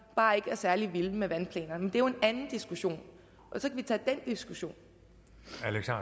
bare ikke er særlig vilde med vandplanerne men det er jo en anden diskussion diskussion